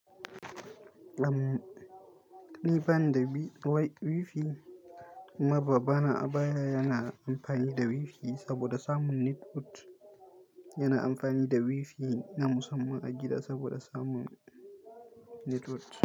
Am, ni bani da wi-wi-wifi kuma ba ba bana a baya yana amfani da wifi saboda samun network. Yana amfani da wifi na musamman a gida saboda samun network.